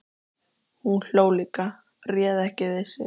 Hún hló líka, réð ekki við sig.